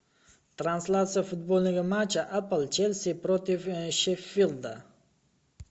трансляция футбольного матча апл челси против шеффилда